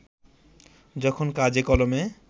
যখন কাগজে-কলমে